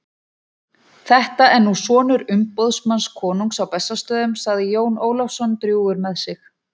Þetta er nú sonur umboðsmanns konungs á Bessastöðum, sagði Jón Ólafsson drjúgur með sig.